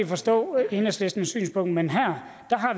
forstå enhedslistens synspunkt men her